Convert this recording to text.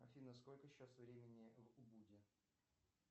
афина сколько сейчас времени в убуде